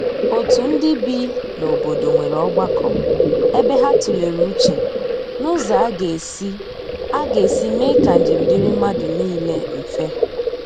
otu ndi bị n'obodo nwere ogbako ebe ha tulere uche n'ụzọ aga esi aga esi mee ka njem diri madu nile mfe.